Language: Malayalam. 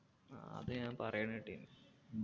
ആ അത് ഞാൻ പറയേണ കേട്ടിന്